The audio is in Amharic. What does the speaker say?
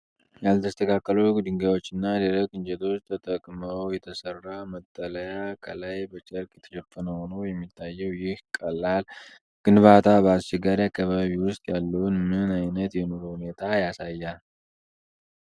ያልተስተካከሉ ድንጋዮችና ደረቅ እንጨቶች ተጠቅመው የተሰራ መጠለያ፣ ከላይ በጨርቅ የተሸፈነ ሆኖ የሚታየው፣ ይህ ቀላል ግንባታ በአስቸጋሪ አካባቢ ውስጥ ያለውን ምን አይነት የኑሮ ሁኔታ ያሳያል?